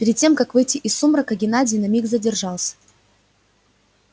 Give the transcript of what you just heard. перед тем как выйти из сумрака геннадий на миг задержался